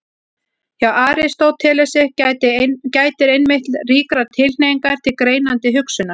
Hjá Aristótelesi gætir einmitt ríkrar tilhneigingar til greinandi hugsunar.